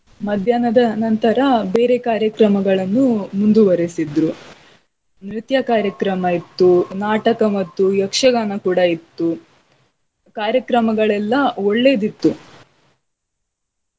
ಮಧ್ಯಾಹ್ನದ ನಂತರ ಬೇರೆ ಕಾರ್ಯಕ್ರಮಗಳನ್ನು ಮುಂದುವರೆಸಿದ್ರು. ನೃತ್ಯ ಕಾರ್ಯಕ್ರಮ ಇತ್ತು, ನಾಟಕ ಮತ್ತು ಯಕ್ಷಗಾನ ಕೂಡಾ ಇತ್ತು. ಕಾರ್ಯಕ್ರಮಗಳೆಲ್ಲ ಒಳ್ಳೇದಿತ್ತು.